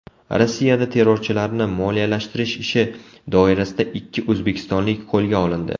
Rossiyada terrorchilarni moliyalashtirish ishi doirasida ikki o‘zbekistonlik qo‘lga olindi.